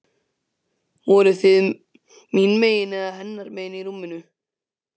Voruð þið mín megin eða hennar megin í rúminu?